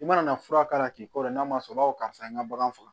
I mana fura k'a la k'i kɔrɔ n'a ma sɔn o ma karisa an ka bagan faga